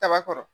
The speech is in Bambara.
Kaba kɔrɔ